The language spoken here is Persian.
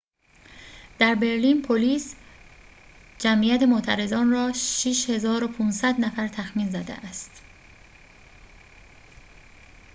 در برلین پلیس جمعیت معترضان را ۶۵۰۰ نفر تخمین زده است